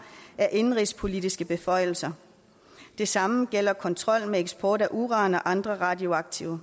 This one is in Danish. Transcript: er indenrigspolitiske beføjelser det samme gælder kontrol med eksport af uran og andre radioaktive